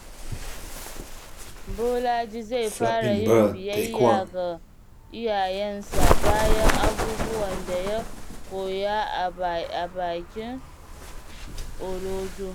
Bolaji zai fara yin biyayya ga iyayensa bayan abubuwan da ya koya a bikin Olojo